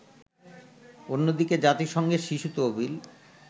অন্যদিকে জাতিসংঘের শিশু তহবিল